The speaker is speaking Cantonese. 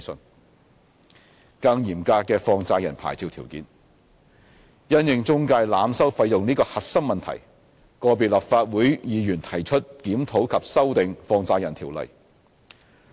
d 更嚴格的放債人牌照條件因應中介濫收費用這個核心問題，個別立法會議員提出檢討及修訂《放債人條例》。